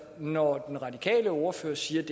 når den radikale ordfører siger at